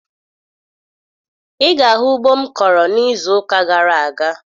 Ị ga-ahụ ugbo m kọrọ n'izuụka gara aga